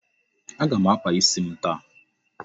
Aga m akpa isi m taa.